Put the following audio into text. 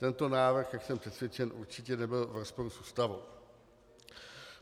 Tento návrh, jak jsem přesvědčen, určitě nebyl v rozporu s Ústavou.